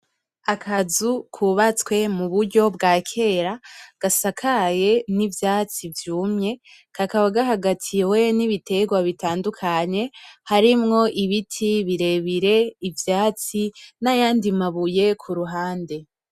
Akazu kubatswe mu buryo bwa kera gasakaye n’ivyatsi vyumye kakaba gahagatiwe n’ibitegwa bitandukanye harimwo ibiti birebire, ivyatsi, n’ayandi mabuye ku ruhande.